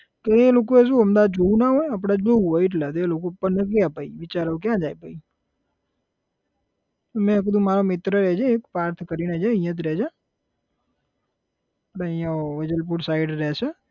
તો એ લોકોએ શુ અમદાવાદ જોયું ના હોય આપણે જોયું હોય એટલે એ લોકો બિચારો ક્યાં જાય પછી, મેં કીધું મારા મિત્ર રહે છે એક પાર્થ કરીને છે અહીંયા જ રહે છે એ અહીંયા વેજલપુર side રહે છે